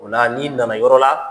O la n'i nana yɔrɔ la